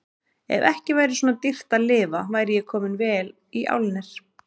Ef ekki væri svona dýrt að lifa væri ég kominn vel í álnir.